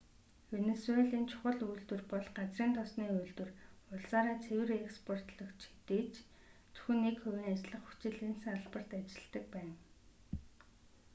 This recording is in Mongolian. венисуелийн чухал үйлдвэр бол газрын тосны үйлдвэр улсаараа цэвэр експортлогч хэдий ч зөвхөн нэг хувийн ажиллах хүч л энэ салбарт ажилладаг байна